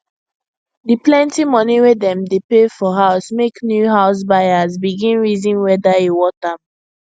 the plenty money wey dem dey pay for house make new house buyers begin reason whether e worth am